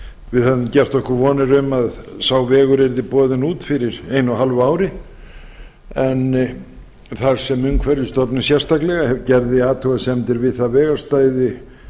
við höfðum gert okkur vonir um að sá vegur yrði boðinn út fyrir einu og hálfu ári en þar sem umhverfisstofnun sérstaklega gerði athugasemdir við það vegarstæði